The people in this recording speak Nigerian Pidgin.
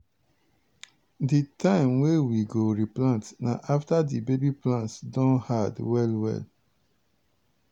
di time wey we go replant na after the baby plants don hard well well.